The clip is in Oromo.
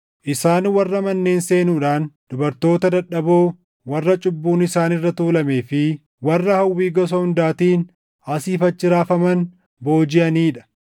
Isaan warra manneen seenuudhaan dubartoota dadhaboo warra cubbuun isaan irra tuulamee fi warra hawwii gosa hundaatiin asii fi achi raafaman boojiʼanii dha;